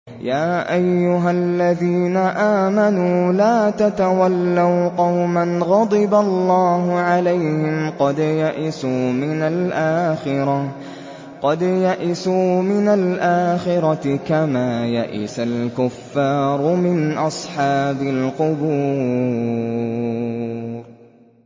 يَا أَيُّهَا الَّذِينَ آمَنُوا لَا تَتَوَلَّوْا قَوْمًا غَضِبَ اللَّهُ عَلَيْهِمْ قَدْ يَئِسُوا مِنَ الْآخِرَةِ كَمَا يَئِسَ الْكُفَّارُ مِنْ أَصْحَابِ الْقُبُورِ